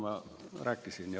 Aga seda kõike ma juba rääkisin.